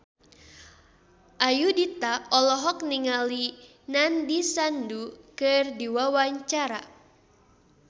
Ayudhita olohok ningali Nandish Sandhu keur diwawancara